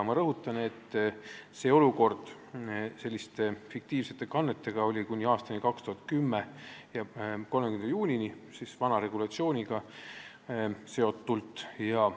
Ma rõhutan, et sellised fiktiivsed kanded olid vana regulatsiooni järgi võimalikud kuni 2010. aasta 30. juunini.